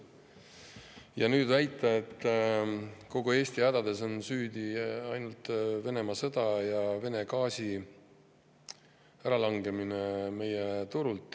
Ja nüüd väidetakse, et kogu Eesti hädades on süüdi ainult Venemaa sõda ja Vene gaasi äralangemine meie turult.